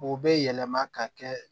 O bɛ yɛlɛma ka kɛ